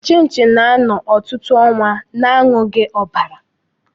Chinchi na-ano ọtụtụ ọnwa na-anwughi ọbara.